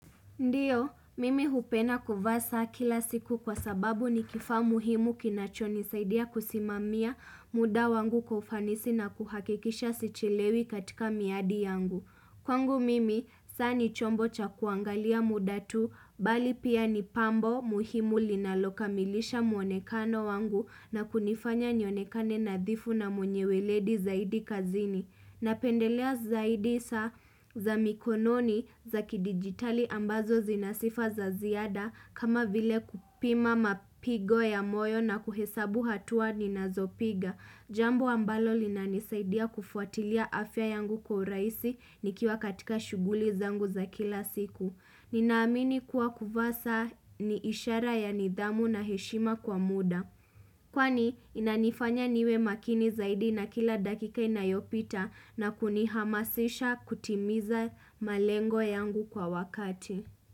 Ndio, mimi hupenda kuvaa saa kila siku kwa sababu ni kifaa muhimu kinacho nisaidia kusimamia muda wangu kwa ufanisi na kuhakikisha sichelewi katika miadi yangu. Kwangu mimi, saa ni chombo cha kuangalia muda tu, bali pia ni pambo muhimu linalokamilisha muonekano wangu na kunifanya nionekane nadhifu na mwenye weledi zaidi kazini. Na pendelea zaidi saa za mikononi za kidigitali ambazo zinasifa za ziada kama vile kupima mapigo ya moyo na kuhesabu hatua ni nazopiga Jambo ambalo linanisaidia kufuatilia afya yangu kwa urahisi nikiwa katika shughuli zangu za kila siku Ninaamini kuwa kuvaa saa ni ishara ya nidhamu na heshima kwa muda Kwani inanifanya niwe makini zaidi na kila dakika inayopita na kunihamasisha kutimiza malengo yangu kwa wakati.